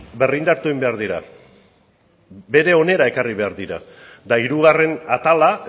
berrindartu behar dira bere onera ekarri behar dira eta hirugarren atala